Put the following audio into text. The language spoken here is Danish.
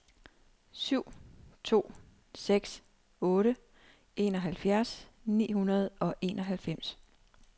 syv to seks otte enoghalvfjerds ni hundrede og enoghalvfems